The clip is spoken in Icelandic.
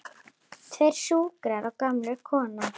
Tveir skúrkar og gömul kona